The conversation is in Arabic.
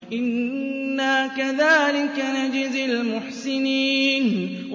إِنَّا كَذَٰلِكَ نَجْزِي الْمُحْسِنِينَ